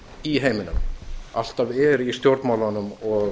í heiminum alltaf er í stjórnmálunum og